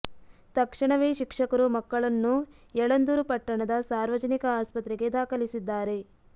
ತಕ್ಷಣವೇ ಶಿಕ್ಷಕರು ಮಕ್ಕಳನ್ನು ಯಳಂದೂರು ಪಟ್ಟಣದ ಸಾರ್ವಜನಿಕ ಆಸ್ಪತ್ರೆಗೆ ದಾಖಲಿಸಿ ದ್ದಾರೆ